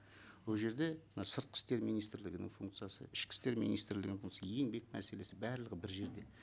ол жерде мына сыртқы істер министрлігінің функциясы ішкі істер министрлігінің функция еңбек мәселесі барлығы бір жерде